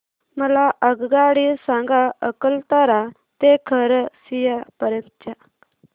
मला आगगाडी सांगा अकलतरा ते खरसिया पर्यंत च्या